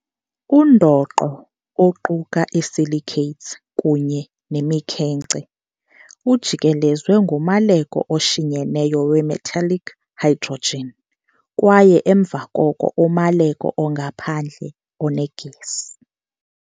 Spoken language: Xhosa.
Undoqo, oquka i-silicates kunye nemikhenkce, ujikelezwe ngumaleko oshinyeneyo we-metallic hydrogen kwaye emva koko umaleko ongaphandle onegesi.